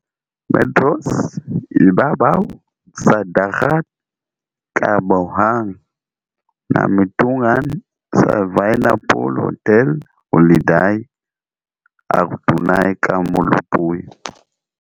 Metros ibabaw sa dagat kahaboga ang nahimutangan sa Via Napoli Hotel Holiday, ug adunay ka molupyo.